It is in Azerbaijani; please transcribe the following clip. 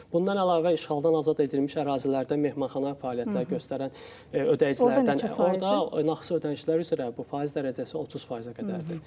Bundan əlavə işğaldan azad edilmiş ərazilərdə mehmanxana fəaliyyətlər göstərən ödəyicilərdən orda nağdsız ödənişlər üzrə bu faiz dərəcəsi 30%-ə qədərdir.